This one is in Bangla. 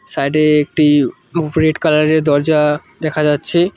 সাইড -এ একটি রেড কালার -এর দরজা দেখা যাচ্ছে।